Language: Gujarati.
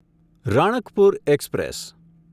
રણકપુર એક્સપ્રેસ